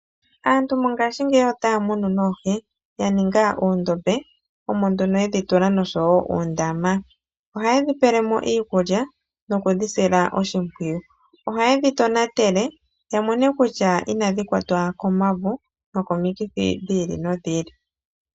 Aantu mongaashingeyi otaa munu oohi yaninga uundombe omo nduno yedhi tula oshowo uundama, ohaye dhi pele mo iikulya nokudhi sila oshimpwiyu, ohaye dhi tonatele yamone kutya inadhi kwata komavo nokomikithi dhi ili nodhi ili.